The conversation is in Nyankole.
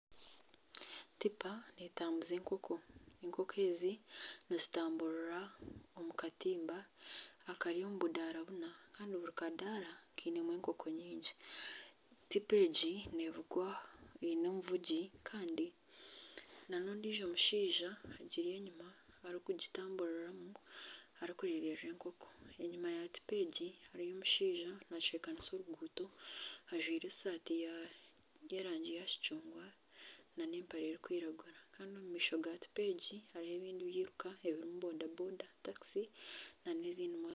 Tipa neetabuza enkoko, enkoko ezi nizitaburira omu katimba akari omu budara buna kandi buri kadaara kainemu enkoko nyingi, tipa egi eine omuvugi kandi nana ondiijo mushaija ori enyima orikugitamburiramu arikwirira enkoko enyima ya tipa egi hariyo omushaija naacwekanisa oruguuto ajwire esaati y'erangi ya kicungwa nana empare erikwiragura kandi omu maisho ga tipa egi harimu ebindi byiruka ebirimu boda boda, takisi nana ebindi byiruka